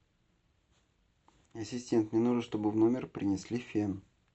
ассистент мне нужно чтобы в номер принесли фен